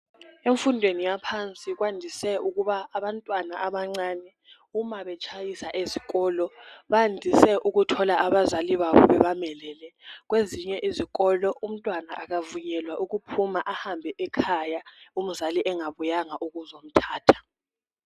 Emfundweni yaphansi kwandise ukuba abantwana abancane uma betshayisa ezikolo bandise ukuthola abazali babo bebamelele. Kwezinye izikolo umntwana akavunyelwa ukuphuma ehambe ekhaya umzali engabuyanga ukuzomthatha.